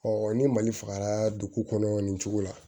ni mali fagara dugu kɔnɔ nin cogo la